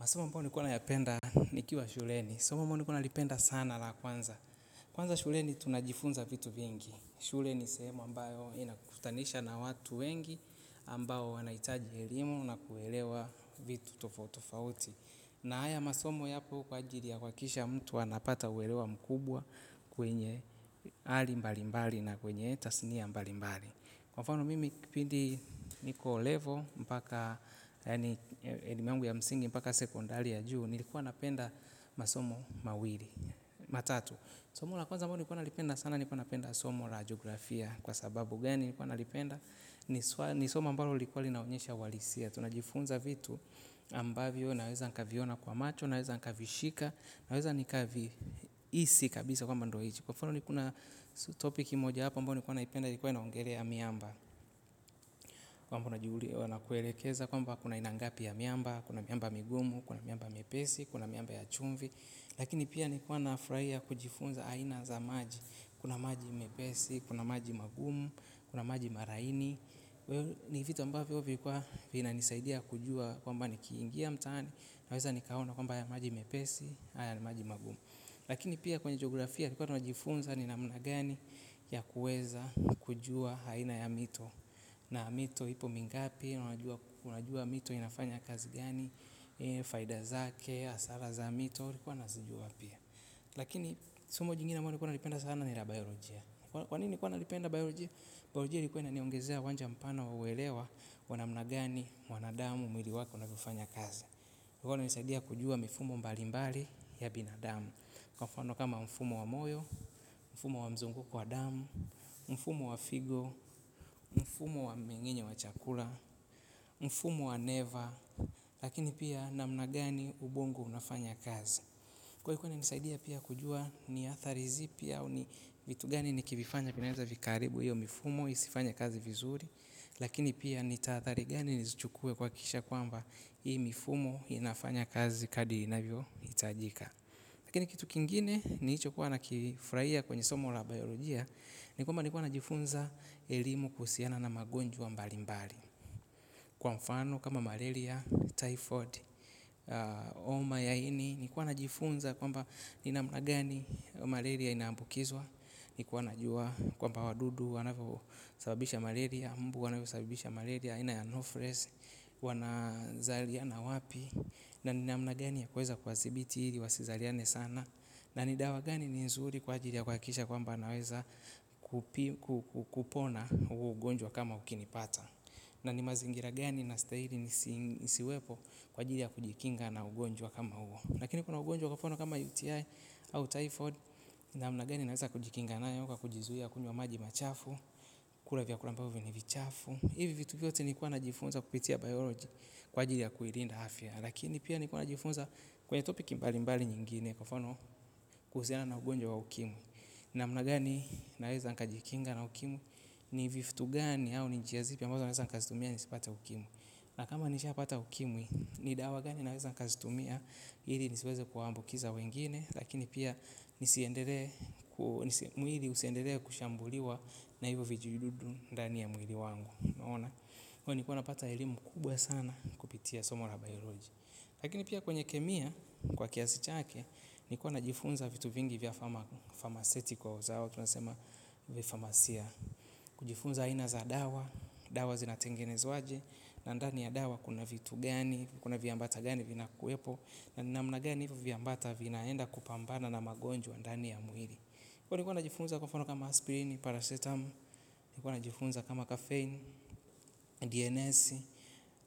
Masomo ambayo nilikuwa nayapenda nikiwa shuleni. Somo ambayo nilikuwa nalipenda sana la kwanza. Kwanza shuleni tunajifunza vitu vingi. Shule ni sehemu ambayo inakukutanisha na watu wengi ambayo wanahitaji elimu na kuelewa vitu tofauti tofauti. Na haya masomo yapo kwa ajili ya kuhakikisha mtu anapata uelewa mkubwa kwenye hali mbalimbali na kwenye tasnia mbalimbali. Kwa mfano mimi kipindi niko level, mpaka sekondari ya juu, nilikuwa napenda masomo mawili, matatu. Somo na kwanza ambalo nilikuwa nalipenda sana, nilikuwa napenda somo jiografia. Kwa sababu gani nikuwa nalipenda, ni somo ambalo lilikuwa linaonyesha uhalisia. Tunajifunza vitu ambavyo, naweza nikaviona kwa macho, naweza nikavishika, naweza nikavihisi kabisa kwamba ndo hicho. Kwa mfano niko na topiki moja hapa ambao nilikuwa naipenda ilikuwa inaongelea miamba. Kwamba na kuelekeza kwamba kuna aina ngapi ya miamba, kuna miamba migumu, kuna miamba mepesi, kuna miamba ya chumvi. Lakini pia nilikuwa kufurahia kujifunza aina za maji. Kuna maji mepesi, kuna maji magumu, kuna maji malaini. Ni vitu ambavyo vilikuwa vinanisaidia kujua kwamba ni kiingia mtaani. Naweza nikaona kwamba haya maji mepesi, haya ni maji magumu. Lakini pia kwenye jiografia tulikuwa tunajifunza ni namna gani ya kuweza kujua aina ya mito. Na mito ipo mingapi, unajua mito inafanya kazi gani, faida zake, hasara za mito, nilikuwa nazijua pia. Lakini somo jingine ambayo nilikuwa nalipenda sana ni la biolojia. Kwa nini nilikuwanalipenda biolojia? Biolojia ilikuwa inaniongezea uwanja mpana wa uelewa, wa namna gani, wanadamu, mwili wake unavyofanya kazi. Kwa hivyo inanisaidia kujua mifumo mbali mbali ya binadamu. Kwa mfani kama mfumo wa moyo, mfumo wa mzunguko wa damu, mfumo wa figo, mfumo wa mmengenyo wa chakula, mfumo wa neva, lakini pia namna gani ubongo unafanya kazi. Kwa hii kunisaidia pia kujua ni athari zipi au ni vitu gani nikivifanya vinaeza vikaharibu hiyo mifumo, isifanye kazi vizuri, lakini pia nitahathari gani nizuchukue kwa kisha kwamba hii mifumo inafanya kazi kadri inavyohitajika. Lakini kitu kingine nilichokuwa na kifurahia kwenye somo la biolojia ni kwamba nilikuwa najifunza elimu kuhusiana na magonjwa mbali mbali. Kwa mfano kama malaria, typhoid, homa ya ini nilikuwa najifunza kwamba ni namnagani malaria inaambukizwa. Nilikuwa najua kwamba wadudu wanasababisha malaria, mbu wanasababisha malaria, aina ya anopheles, wanazaliana wapi. Na ni namna gani ya kuweza kuwadhibiti ili wasizaliane sana na ni dawa gani ni nzuri kwa ajili ya kuhakikisha kwamba naweza kupona ugonjwa kama ukinipata na ni mazingira gani nastahili nisiwepo kwa ajili ya kujikinga na ugonjwa kama huo lakini kuna ugonjwa kwa mfano kama UTI au Typhoid namna gani naweza kujikinga nayo kwa kujizuia kunywa maji machafu kula vyakula ambavyo ni vichafu hivi vitu vyote nilikuwa najifunza kupitia biolojia kwa ajili ya kuilinda afya. Lakini pia nilikuwa najifunza kwenye topic mbali mbali nyingine kwa mfano kuhusiana na ugonjwa wa ukimwi. Namna naweza nikajikinga na ukimwi ni vitu gani au ni njia zipi naweza kuzitumia ili nisipate ukimwi. Na kama nishapata ukimwi ni dawa gani naweza nikazitumia hili nisiweze kuwaambukiza wengine lakini pia nisiendelee kushambuliwa na hivyo vijidudu ndani ya mwili wangu. Naona. Kwa hio nilikuwa napata elimu kubwa sana kupitia somo la biolojia. Lakini pia kwenye kemia kwa kiasi chake, nilikuwa najifunza vitu vingi vya pharmaceutical zao, tunasema vya famasia. Kujifunza aina za dawa, dawa zinatengenezwaje, na ndani ya dawa kuna vitu gani, kuna viambata gani vinakuwepo, na ni namna gani hivyo viambata vinaenda kupambana na magonjwa ndani ya mwili. Kwa hiyo nilikuwa najifunza kwa mfano kama aspirini, paracetamu, nilikuwa najifunza kama kafein, DNS.